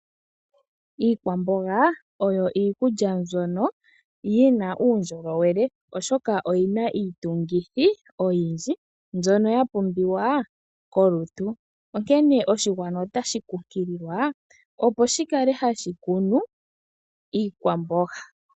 Iikwamboga oyo iikulya mbyono yi na uundjolowele, oshoka oyi na iitungithi oyindji mbyono ya pumbiwa kolutu, onkene oshigwana otashi kunkililwa opo shi kale hashi kunu iikwamboga.